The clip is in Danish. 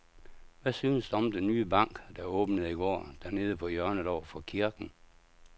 Hvad synes du om den nye bank, der åbnede i går dernede på hjørnet over for kirken?